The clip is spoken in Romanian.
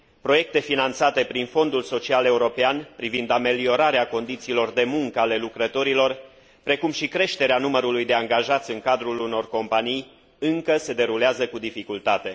Proiecte finanțate prin Fondul social european, privind ameliorarea condițiilor de muncă ale lucrătorilor, precum și creșterea numărului de angajați în cadrul unor companii, încă se derulează cu dificultate.